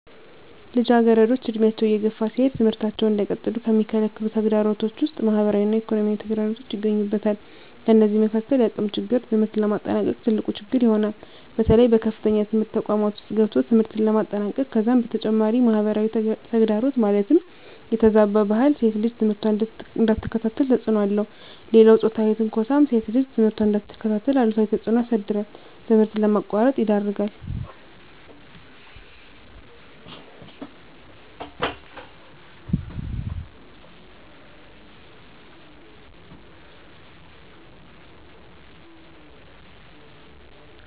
ልጃገረዶች ዕድሜያቸው እየገፋ ሲሄድ ትምህርታቸውን እንዳይቀጥሉ ከሚከለክሉ ተግዳሮቶች ውስጥ ማህበራዊ እና ኢኮኖሚያዊ ተግዳሮቶች ይገኙበታል። ከነዚህም መካካል የአቅም ችግር ትምህርት ለማጠናቀቅ ትልቁ ችግር ይሆናል። በተለይ በከፍተኛ ትምህርት ተቋማት ውስጥ ገብቶ ትምህርትን ለማጠናቀቅ ከዛም በተጨማሪ ማህበራዊ ተግዳሮት ማለትም የተዛባ ባህል ሴት ልጅ ትምህርቷን እንዳትከታተል ተፅዕኖ አለው። ሌላው ፆታዊ ትንኳሳም ሴት ልጅ ትምህርቷን እንዳትከታተል አሉታዊ ተፅዕኖ ያሳድራል ትምህርት ለማቋረጥ ይዳርጋል።